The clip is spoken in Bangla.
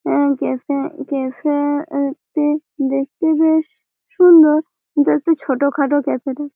এম কাফে কাফে -এ-এটি দেখতে বেশ সুন্দর এটা একটু ছোট খাটো ক্যাফে টে।